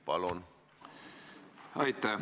Palun!